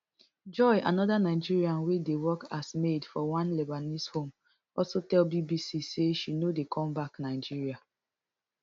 joy anoda nigerian wey dey work as maid for one lebanese home also tell bbc say she no dey come back nigeria